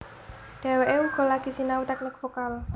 Dheweké uga lagi sinau teknik vokal